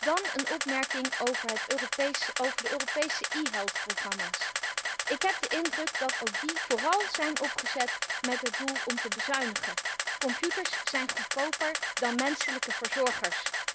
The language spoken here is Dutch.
Dan een opmerking over de Europese e health programma's. Ik heb de indruk dat ook die vooral zijn opgezet met het doel om te bezuinigen. Computers zijn goedkoper dan menselijke verzorgers.